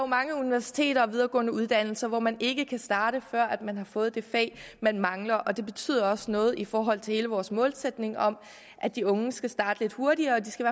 mange universiteter og videregående uddannelser hvor man ikke kan starte før man har fået det fag man mangler det betyder også noget i forhold til hele vores målsætning om at de unge skal starte lidt hurtigere de skal